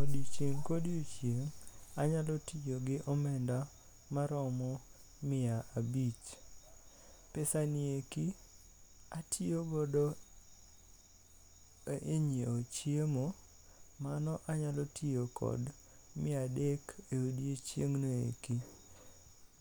Odiochieng kodiochieng' anyalo tiyo gi omenda maromo mia abich. Pesa gi eki atiyo godo e nyiewo chiemo , mano anyalo tiyo kod mia adek e odiochieng ni eki.